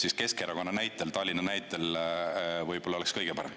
Just Keskerakonna näitel, Tallinna näitel võib-olla oleks kõige parem.